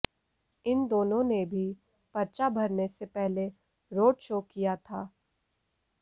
इन दोनों ने भी पर्चा भरने से पहले रोड शो किया था